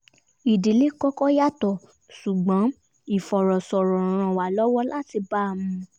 ìdílé kọ́kọ́ yàtọ̀ ṣùgbọ́n ìfọ̀rọ̀sọrọ̀ ràn wá lọwọ lati ba a mu